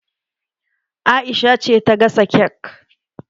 Aisha ce ta gasa kek